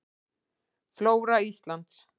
Flóra Íslands.